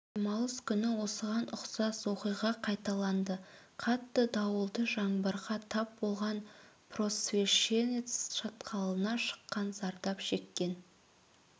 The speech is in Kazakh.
демалыс күні осыған ұқсас оқиға қайталанды қатты дауылды жаңбырға тап болған просвещенец шатқалына шыққан зардап шеккен